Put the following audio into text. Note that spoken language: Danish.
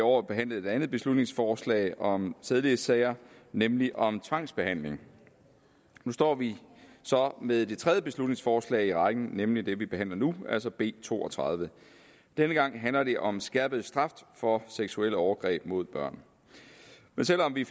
år behandlet et andet beslutningsforslag om sædelighedssager nemlig om tvangsbehandling nu står vi så med det tredje beslutningsforslag i rækken nemlig det vi behandler nu altså b to og tredive denne gang handler det om skærpet straf for seksuelle overgreb mod børn selv om vi